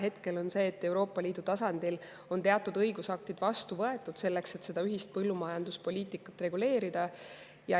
Hetkel on nii, et Euroopa Liidu tasandil on teatud õigusaktid vastu võetud, selleks et seda ühist põllumajanduspoliitikat reguleerida.